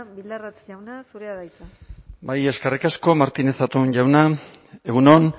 bildarratz jauna zurea da hitza bai eskerrik asko martínez zatón jauna egun on